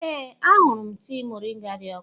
Ee, ahụrụ m tii moringa dị ọkụ.